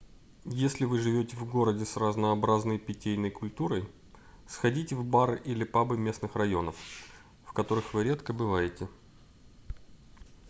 если вы живёте в городе с разнообразной питейной культурой сходите в бары или пабы местных районов в которых вы редко бываете